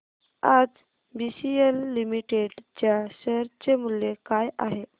आज BCL limited च्या share चे मूल्य काय आहे